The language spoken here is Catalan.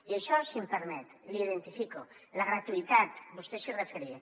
i això si em permet l’hi identifico la gratuïtat vostè s’hi referia